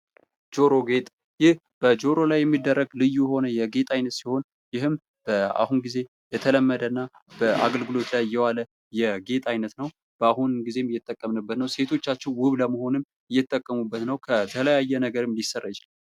ጆሮ ጌጥ ይህ በጆሮ ላይ የሚደረግ ልዩ የሆነ የጌጥ ዓይነት ሲሆን ፤ ይህም በአሁኑ ጊዜ የተለመደና በአገልግሎት ላይ የዋለ የጌጥ አይነት ነው። በአሁኑ ጊዜ እየተጠቀምንበት ነው። ሴቶቻችን ውብ ለመሆንም እየተጠቀሙበት ነው ከተለያየ ነገርም ሊሰራ ይችላል።